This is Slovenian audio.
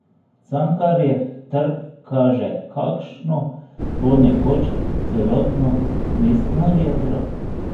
Cankarjev trg kaže, kakšno bo nekoč celotno mestno jedro.